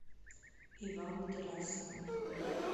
иван герасимов